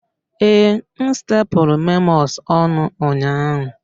Ee, m stepulu memos ọnụ ụnyaahụ